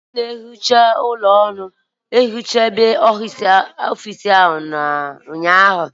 Onye na-ehicha ụlọ ọrụ ehichaghị ọfiisi ụnyaahụ